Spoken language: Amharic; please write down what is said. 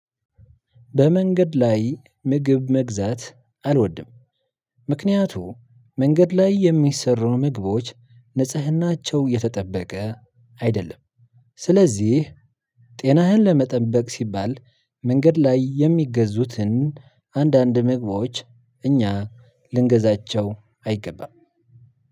በመንገድ ላይ ምግብ መግዛት አልወድም። ምክንያቱም መንገድ ላይ የሚሰሩ ምግቦች ንጽህናቸው የተጠበቀ አይደለም። ስለዚህ ጤናህን ለመጠበቅ ሲባል መንገድ ላይ የሚገዙትን አንዳንድ ምግቦች እኛ ልንገዛቸው አይገባም።